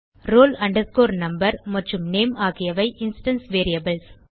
roll number மற்றும் name ஆகியவை instance variables